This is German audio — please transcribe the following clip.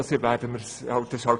Wir haben es gehört;